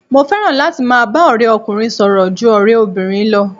Mo fẹ́ràn láti máa bá ọ̀rẹ́ ọkùnrin sọ̀rọ̀ ju ọ̀rẹ́ obìnrin lọ.